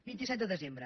vint set de desembre